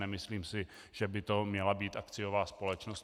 Nemyslím si, že by to měla být akciová společnost.